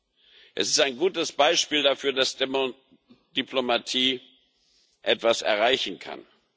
Dieser ist ein gutes Beispiel dafür, dass Diplomatie etwas erreichen kann.